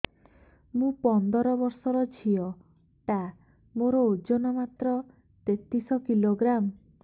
ମୁ ପନ୍ଦର ବର୍ଷ ର ଝିଅ ଟା ମୋର ଓଜନ ମାତ୍ର ତେତିଶ କିଲୋଗ୍ରାମ